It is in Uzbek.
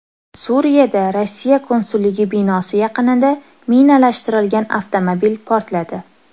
Suriyada Rossiya konsulligi binosi yaqinida minalashtirilgan avtomobil portladi.